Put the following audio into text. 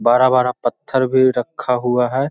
बड़ा-बड़ा पत्थर भी रका हुआ है।